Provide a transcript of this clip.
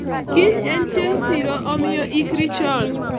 kiny en chieng' siro, omiyo iikri chon